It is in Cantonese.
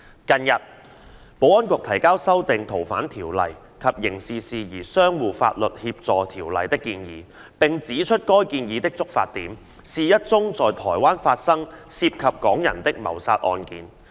近日，保安局提交修訂《逃犯條例》及《刑事事宜相互法律協助條例》的建議，並指出該建議的觸發點是一宗在台灣發生涉及港人的謀殺案件。